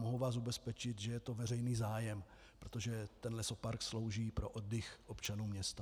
Mohu vás ubezpečit, že je to veřejný zájem, protože ten lesopark slouží pro oddych občanů města.